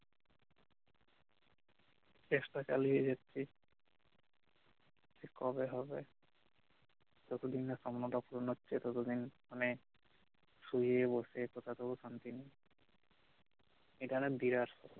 চেষ্টা চালিয়ে যাচ্ছি যে কবে হবে যতদিন না স্বপ্নটা পুরন হছে ততদিন মানে শুয়ে বসে কথাতেও শান্তি নেই এখানে বিরাট